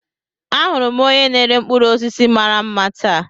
Ahụrụ m onye na-ere mkpụrụ osisi mara mma taa.